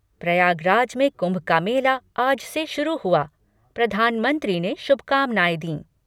प्रयागराज में कुम्भ का मेला आज से शुरू हुआ, प्रधानमंत्री ने शुभकामनाएं दीं